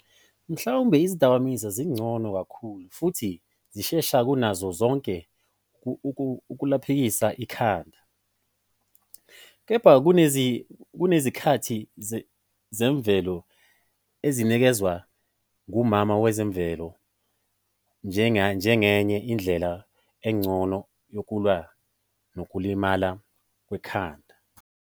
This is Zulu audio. Mhlawumbe izidakamizwa zingcono kakhulu futhi zishesha kunazo zonke ukuphulukisa ikhanda, Kepha kunezakhi zemvelo ezinikezwa nguMama Wezemvelo njengenye indlela engcono yokulwa nokulimala kwekhanda.